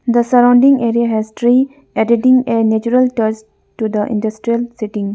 the surrounding area has tree editing a natural touch to the industrial setting.